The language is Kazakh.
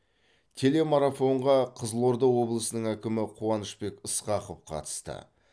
телемарафонға қызылорда облысының әкімі қуанышбек ысқақов қатысты